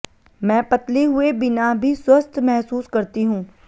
मैं पतली हुए बिना भी स्वस्थ्य महसूस करती हूं